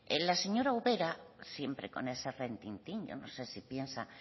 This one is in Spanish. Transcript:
la señora ubera siempre con ese retintín yo no sé si piensa